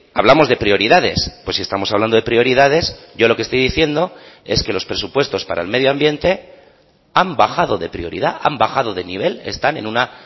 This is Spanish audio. hablamos de prioridades pues si estamos hablando de prioridades yo lo que estoy diciendo es que los presupuestos para el medio ambiente han bajado de prioridad han bajado de nivel están en una